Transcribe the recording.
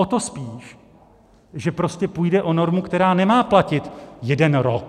O to spíš, že prostě půjde o normu, která nemá platit jeden rok.